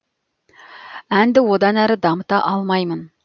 әнді одан әрі дамыта алмаймын